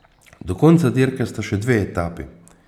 Do konca dirke sta še dve etapi.